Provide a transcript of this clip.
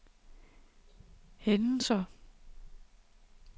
hændelser